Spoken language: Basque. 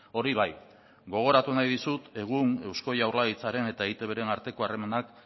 hori bai gogoratu nahi dizut egun eusko jaurlaritzaren eta eitbren arteko harremanak